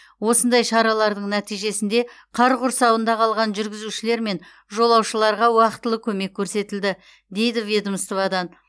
осындай шаралардың нәтижесінде қар құрсауында қалған жүргізушілер мен жолаушыларға уақтылы көмек көрсетілді дейді ведомстводан